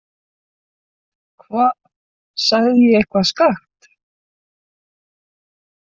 Hva, sagði ég eitthvað skakkt?